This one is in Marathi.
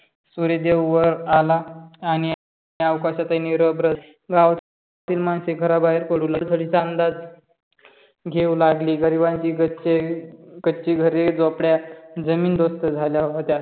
सूर्य देव वर आला आणि अवकाशाचा निरबर गावातील मनसे घरा बाहेर पडू लागली. पुरबुडी चा अंदाज घेऊ लागली. गरिबांची कच्ची घरे झोपडे जमीनदोस्त झाल्या होत्या.